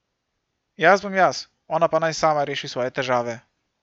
Jaz bom jaz, ona pa naj sama reši svoje težave.